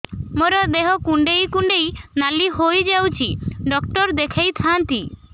ମୋର ଦେହ କୁଣ୍ଡେଇ କୁଣ୍ଡେଇ ନାଲି ହୋଇଯାଉଛି ଡକ୍ଟର ଦେଖାଇ ଥାଆନ୍ତି